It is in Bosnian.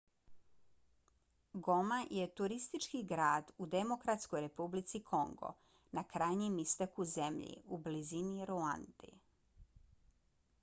goma je turistički grad u demokratskoj republici kongo na krajnjem istoku zemlje u blizini ruande